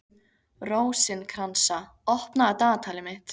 Rósinkransa, opnaðu dagatalið mitt.